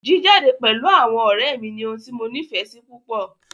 Jíjade pẹ̀lú àwọn ọ̀rẹ́ mí ní ohun tí mo nífẹsí púpọ.